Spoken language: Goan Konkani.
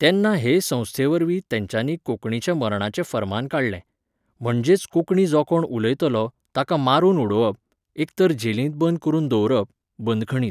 तेन्ना हे संस्थेवरवी तेंच्यांनी कोंकणीच्या मरणाचें फर्मान काडलें. म्हणजेच कोंकणी जो कोण उलयतलो, ताका मारून उडोवप, एक तर जेलींत बंद करून दवरप, बंदखणींत.